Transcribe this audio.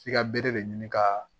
F'i ka bere de ɲini ka